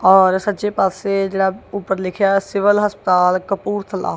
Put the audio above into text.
ਔਰ ਸੱਜੇ ਪਾਸੇ ਜਿਹੜਾ ਉੱਪਰ ਲਿਖਿਆ ਹੋਇਆ ਸਿਵਲ ਹਸਪਤਾਲ ਕਪੂਰਥਲਾ।